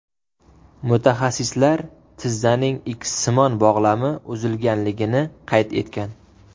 Mutaxassislar tizzaning ikssimon bog‘lami uzilganligini qayd etgan.